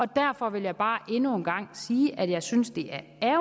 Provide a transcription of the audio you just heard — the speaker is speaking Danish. derfor vil jeg bare endnu en gang sige at jeg synes det er